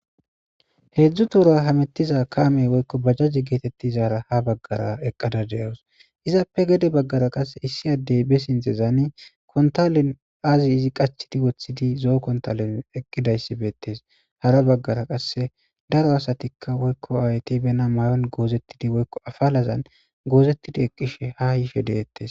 heedzdzu tora hamettiza kaamey woykko bajjajje geetettizaara ha baggara eqqada de7wus izappe gede baggara qasse issi addey be sintezaani kontalen azi izi qachidi woththidi zoo kontalen eqqidayssi beettes hara baggara qasse daro asatikka woykko awayti bena may7on goozettidi woykko afalazan goozettidi eqqishe ha yife deettes